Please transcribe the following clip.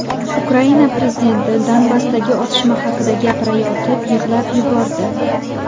Ukraina prezidenti Donbassdagi otishma haqida gapirayotib yig‘lab yubordi.